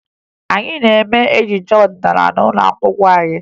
Anyị na-eme ejije ọdịnaala n'ụlọ akwụkwọ anyị